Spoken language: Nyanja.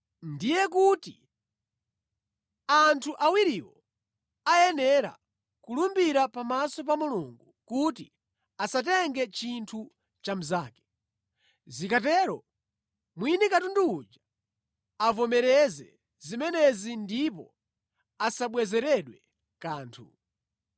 ndiye kuti anthu awiriwo ayenera kulumbira pamaso pa Mulungu kuti asatenge chinthu cha mnzake. Zikatero mwini katundu uja avomereze zimenezi ndipo asabwezeredwe kanthu.